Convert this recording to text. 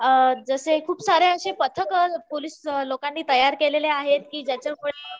अ अ जसे खूप सारे असे पथक पोलीस लोकांनी तयार केलेले आहेत कि जाच्या मुळे